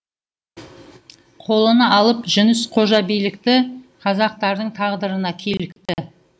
қолына алып жүніс қожа билікті қазақтардың тағдырына килікті